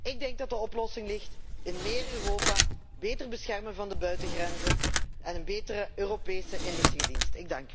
Ik denk dat de oplossing ligt in meer Europa, het beter beschermen van de buitengrenzen en een betere Europese inlichtingendienst.